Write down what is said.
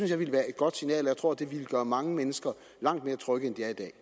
jeg ville være et godt signal og jeg tror at det ville gøre mange mennesker langt mere trygge